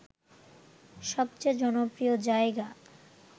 সবচেয়ে জনপ্রিয় জায়গা